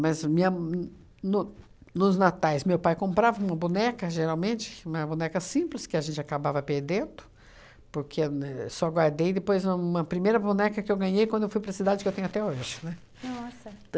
Mas minha, no nos natais, meu pai comprava uma boneca, geralmente, uma boneca simples, que a gente acabava perdendo, porque eu ne só guardei depois uma primeira boneca que eu ganhei quando eu fui para a cidade, que eu tenho até hoje, né? Nossa!